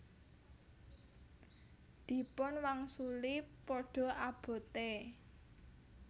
Dipun wangsuli Padha abote